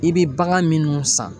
I bɛ bagan minnu san.